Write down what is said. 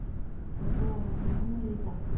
Og svo á hann afmæli í dag.